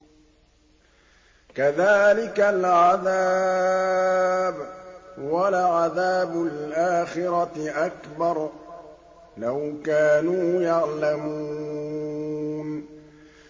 كَذَٰلِكَ الْعَذَابُ ۖ وَلَعَذَابُ الْآخِرَةِ أَكْبَرُ ۚ لَوْ كَانُوا يَعْلَمُونَ